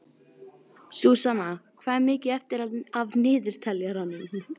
Súsanna, hvað er mikið eftir af niðurteljaranum?